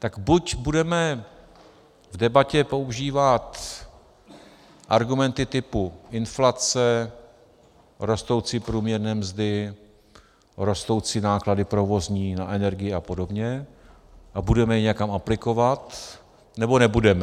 Tak buď budeme v debatě používat argumenty typu inflace, rostoucí průměrné mzdy, rostoucí náklady provozní na energii a podobně a budeme je někam aplikovat, nebo nebudeme.